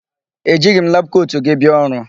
E jighị m labụ kotu gị bia ọrụ.